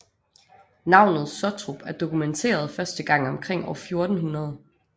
Navnet Sottrup er dokumenteret første gang omkring år 1400